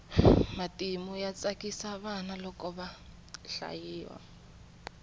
matimu ya tsakisa vana loko ya hlayiwa